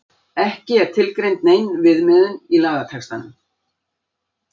Ekki er tilgreind nein viðmiðun í lagatextanum.